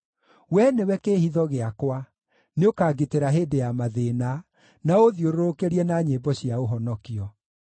Wee nĩwe kĩĩhitho gĩakwa; nĩũkangitĩra hĩndĩ ya mathĩĩna, na ũũthiũrũrũkĩrie na nyĩmbo cia ũhonokio.